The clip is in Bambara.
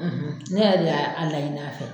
ne yɛrɛ de y'a layini a fɛ.